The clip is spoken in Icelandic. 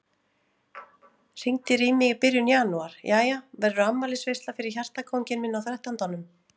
Hringdir í mig í byrjun janúar: Jæja, verður afmælisveisla fyrir hjartakónginn minn á þrettándanum?